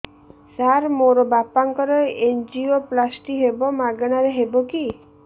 ସାର ମୋର ବାପାଙ୍କର ଏନଜିଓପ୍ଳାସଟି ହେବ ମାଗଣା ରେ ହେବ କି